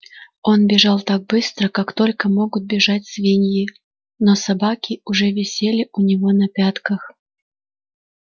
он бежал так быстро как только могут бежать свиньи но собаки уже висели у него на пятках